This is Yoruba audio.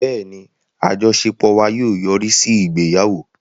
Bẹ́ẹ̀ni, àjọṣepọ̀ wa yóò yọrí sí ìgbéyàwó